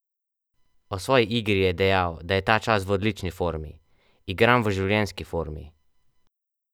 O svoji igri je dejal, da je ta čas v odlični formi: "Igram v življenjski formi.